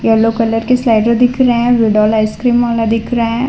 yellow colour के slider दिख रहे विड्रोल आइसक्रीम वाला दिख रहे --